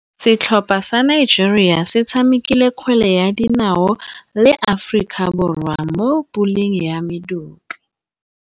Setlhopha sa Nigeria se tshamekile kgwele ya dinaô le Aforika Borwa mo puleng ya medupe.